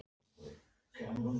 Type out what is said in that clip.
Nú ætla ég að ögra þér.